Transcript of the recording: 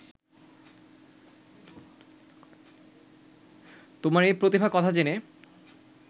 তোমার এ প্রতিভার কথা জেনে